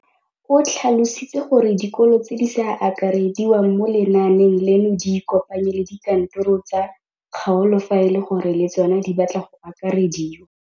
O tlhalositse gore dikolo tse di sa akarediwang mo lenaaneng leno di ikopanye le dikantoro tsa kgaolo fa e le gore le tsona di batla go akarediwa.